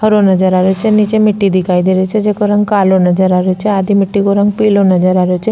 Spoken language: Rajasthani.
हरो नजर आ रही छे निचे मिट्टी दिखाई दे री छे जेको रंग कालो नजर आ रेहो छे आधी मिट्टी को रंग पिलो नजर आ रेहो छे।